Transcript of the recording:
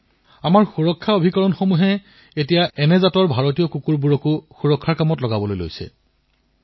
এতিয়া আমাৰ সুৰক্ষা সংস্থাসমূহেও ভাৰতীয় জাতৰ কুকুৰবোৰক নিজৰ দলত সংগী কৰি লৈছে